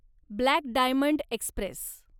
black diamond Express